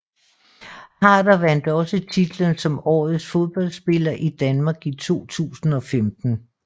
Harder vandt også titlen som Årets Fodboldspiller i Danmark i 2015